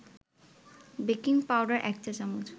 baking powder ১ চা-চামচ